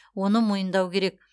оны мойындау керек